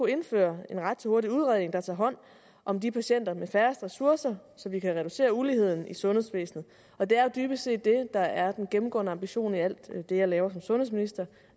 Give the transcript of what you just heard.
indføre en ret til hurtig udredning der tager hånd om de patienter der har færrest ressourcer så vi kan reducere uligheden i sundhedsvæsenet og det er jo dybest set det der er den gennemgående ambition i alt det jeg laver som sundhedsminister